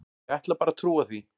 Ég ætla bara að trúa því.